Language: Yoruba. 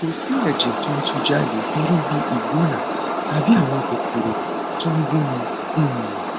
kò sí ẹjẹ tó ń tú jáde irú bí ìgbóná tàbí àwọn kòkòrò tó ń gúnni um